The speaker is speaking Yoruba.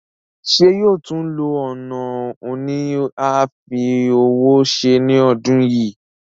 Ṣé yóò tún lo ọ̀nà òní àfi ọwọ́ se ní ọdún yìí?